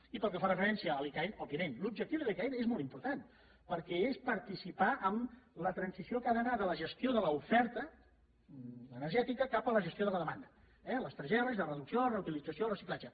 i pel que fa referència a l’icaen òbviament l’objectiu de l’icaen és molt important perquè és participar en la transició que ha d’anar de la gestió de l’oferta energètica cap a la gestió de la demanda eh les tres erres de reducció reutilització i reciclatge